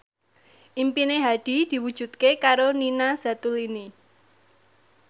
impine Hadi diwujudke karo Nina Zatulini